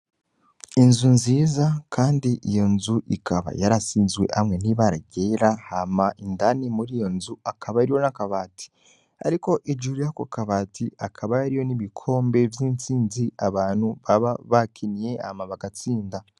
Inzu nziza, kandi iyo nzu ikaba yarasizwe hamwe nibaragera hama indani muri iyo nzu akaba ari yo n'akabati, ariko ijuru yako kabati akaba yariyo n'ibikombe vy'intsinzi abantu baba bakiniye ama bagatsinda.